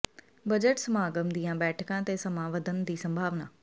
budget ਸਮਾਗਮ ਦੀਆਂ ਬੈਠਕਾਂ ਤੇ ਸਮਾਂ ਵਧਣ ਦੀ ਸੰਭਾਵਨਾ